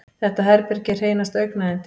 Þetta herbergi er hreinasta augnayndi.